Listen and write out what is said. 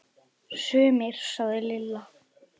Sumir sagði Lilla.